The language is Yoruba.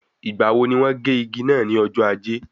Ìgbà wo ní wọ́n gé igi náà ní ọjọ́ ajé?